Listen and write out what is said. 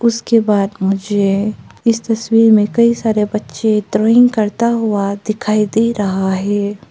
उसके बाद मुझे इस तस्वीर में कई सारे बच्चे ड्रॉईंग करता हुआ दिखाई दे रहा है।